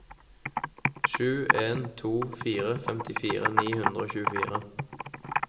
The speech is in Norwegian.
sju en to fire femtifire ni hundre og tjuefire